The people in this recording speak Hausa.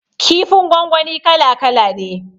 Kifin gwangwani kala kala ne